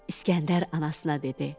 İskəndər anasına dedi: